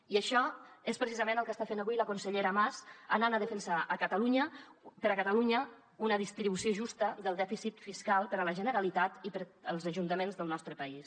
i això és precisament el que està fent avui la consellera mas anant a defensar per a catalunya una distribució justa del dèficit fiscal per a la generalitat i per als ajuntaments del nostre país